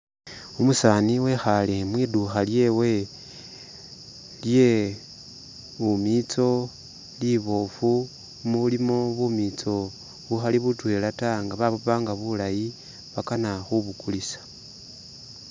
Umusani wekhale mwidukha lyewe lye-bumitso libofu mulimo bumitso bukhali butwela ta nga babupanga bulayi bakana khubu kulisa